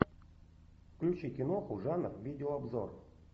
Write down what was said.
включи киноху жанр видеообзор